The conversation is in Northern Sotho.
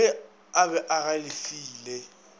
ge a be a galefile